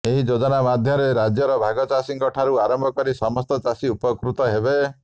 ଏହି ଯୋଜନା ମାଧ୍ୟମରେ ରାଜ୍ୟର ଭାଗ ଚାଷୀଙ୍କ ଠାରୁ ଆରମ୍ଭ କରି ସମସ୍ତ ଚାଷୀ ଉପକୃତ ହେବେ